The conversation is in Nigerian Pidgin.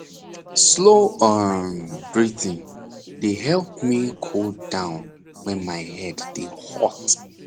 slow um breathing dey help me cool down when my head dey hot